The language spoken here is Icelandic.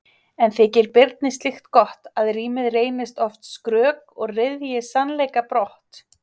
En þykir Birni slíkt gott, að rímið reynist oft skrök og ryðji sannleika brott?